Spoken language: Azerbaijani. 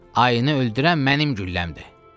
Ayını öldürən mənim gülləmdir.